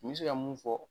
N bɛ se ka mun fɔ